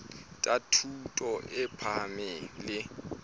tsa thuto e phahameng le